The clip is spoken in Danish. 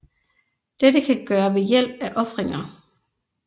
Dette kan gøre ved hjælp af ofringer